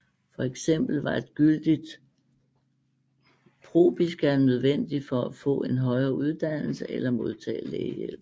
For eksempel var et gyldigt propiska nødvendigt for at få en højere uddannelse eller modtage lægehjælp